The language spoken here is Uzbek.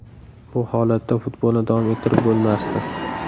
Bu holatda futbolni davom ettirib bo‘lmasdi.